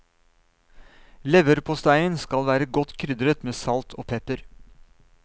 Leverposteien skal være godt krydret med salt og pepper.